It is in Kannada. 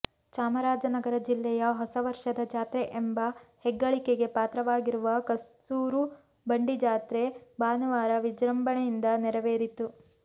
ಚಾಮರಾಜನಗರ ಜಿಲ್ಲೆಯ ಹೊಸ ವರ್ಷದ ಜಾತ್ರೆ ಎಂಬ ಹೆಗ್ಗಳಿಕೆಗೆ ಪಾತ್ರವಾಗಿರುವ ಕಸ್ತೂರುಬಂಡಿಜಾತ್ರೆ ಭಾನುವಾರ ವಿಜೃಂಭಣೆಯಿಂದ ನೆರವೇರಿತು